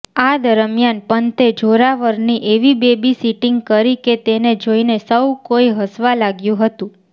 આ દરમિયાન પંતે જોરાવરની એવી બેબીસિટિંગ કરી કે તેને જોઇને સૌ કોઈ હસવા લાગ્યું હતુ